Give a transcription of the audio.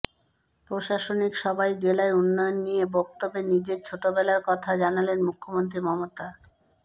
প্রশাসনিক সভায় জেলার উন্নয়ন নিয়ে বক্তব্যে নিজের ছোটবেলার কথা জানালেন মুখ্যমন্ত্রী মমতা